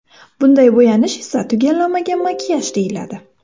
Bunday bo‘yanish esa tugallanmagan makiyaj deyiladi.